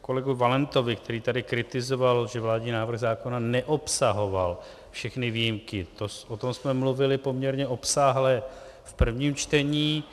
kolegu Valentovi, který tady kritizoval, že vládní návrh zákona neobsahoval všechny výjimky, o tom jsme mluvili poměrně obsáhle v prvním čtení.